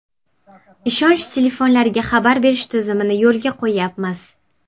Ishonch telefonlariga xabar berish tizimini yo‘lga qo‘yyapmiz.